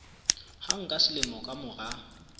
hang ka selemo ka mora